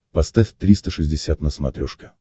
поставь триста шестьдесят на смотрешке